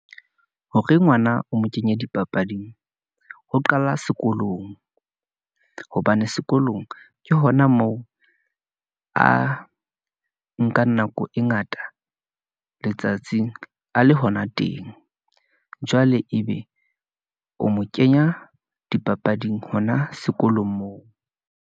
Hore ngwana o mo kenye dipapading, ho qala sekolong , hobane sekolong ke hona moo a nka nako e ngata letsatsing, a le hona teng . Jwale ebe o mo kenya dipapading hona sekolong moo.